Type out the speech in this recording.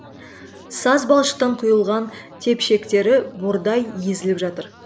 саз балшықтан құйылған тепшектері бордай езіліп жатыр